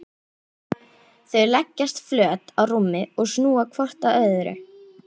Þau leggjast flöt á rúmið og snúa hvort að öðru.